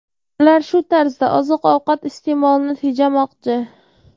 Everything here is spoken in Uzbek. Ular shu tarzda oziq-ovqat iste’molini tejamoqchi.